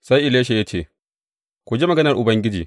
Sai Elisha ya ce, Ku ji maganar Ubangiji.